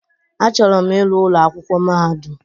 Achọrọ m ịrụ ụlọ akwụkwọ mahadụm.